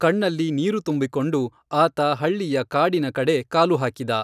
ಕಣ್ಣಲ್ಲಿ ನೀರು ತುಂಬಿಕೊಂಡು, ಆತ ಹಳ್ಳಿಯ ಕಾಡಿನ ಕಡೆ ಕಾಲು ಹಾಕಿದ.